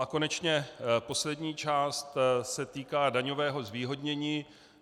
A konečně poslední část se týká daňového zvýhodnění.